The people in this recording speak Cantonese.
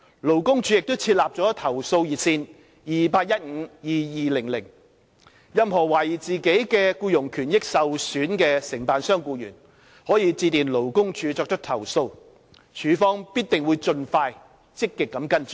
勞工處亦設立了投訴熱線 2815,2200， 任何懷疑自己僱傭權益受損的承辦商僱員，可致電勞工處作出投訴，處方必定會盡快積極跟進。